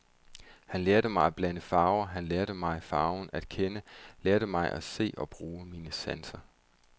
Han lærte mig at blande farver, han lærte mig farven at kende, lærte mig at se og bruge mine sanser.